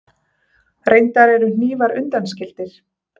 Reyndar eru hnífar undanskildir.